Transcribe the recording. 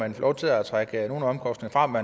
man får lov til at trække nogle af omkostningerne